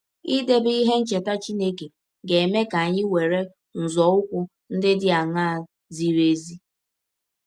Idebe ihe ncheta Chineke ga - eme ka anyị were nzọụkwụ ndị dị aṅaa zịrị ezi?